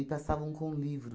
E passavam com o livro.